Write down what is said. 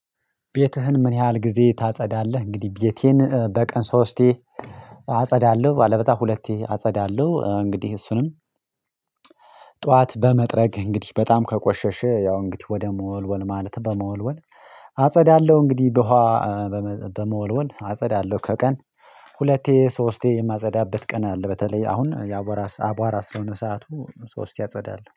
"ቤትህን ምን ያህል ጊዜ ታጸዳለህ?" እንግዲህ ቤቴን በቀን ሶስቴ አጸዳለሁ። አለበለዛ ሁለቴ አጸዳለሁ እንግዲህ እሱንም ጠዋት በመጥረግ እንግዲህ በጣም ከቆሸሽ ያው እንግዲህ ወደ መወልወል ማለት በመወልወል አጸዳለሁ። እንግዲህ በውሃ በመ በመወልወል አጸዳለሁ ከቀን ሁለቴ ሶስቴ የማጸዳበት ቀን አለ። በተለይ አሁን የአቧራ አቧራ ስለሆነ ሰዓቱ ሶስቴ አጸዳለሁ።